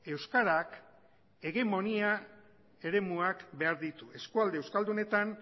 euskarak hegemonia eremuak behar ditu eskualde euskaldunetan